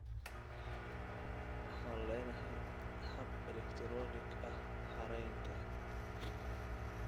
Waxaan leenahay hab elektaroonig ah xereynta.